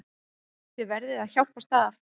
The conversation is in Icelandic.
Þið verðið að hjálpast að.